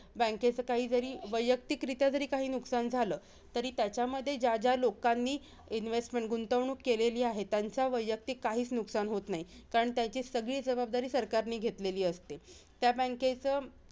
त्या bank चं bank चं काही जरी वैयक्तिकरित्या जरी काही नुकसान झालं, तरी त्याच्यामध्ये ज्या ज्या लोकांनी investment गुंवणूक केलेली आहे, त्याचं वैयक्तिक काहीचं नुकसान होत नाही. कारण त्याची सगळी जबाबदारी सरकारने घेतलेली असते.